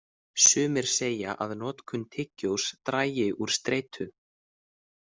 Sumir segja að notkun tyggjós dragi úr streitu.